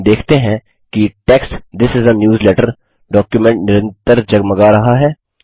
हम देखते हैं कि text this is a newsletter document निरंतर जगमगा रहा है